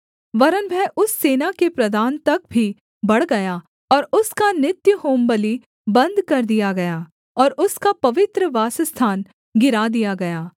वरन् वह उस सेना के प्रधान तक भी बढ़ गया और उसका नित्य होमबलि बन्द कर दिया गया और उसका पवित्र वासस्थान गिरा दिया गया